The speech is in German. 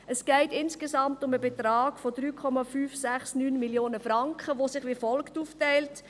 Es geht insgesamt um den Betrag von 3,569 Mio. Franken, der sich wie folgt aufteilt: